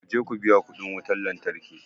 Ku je ku biya kuɗin wutar lantarki.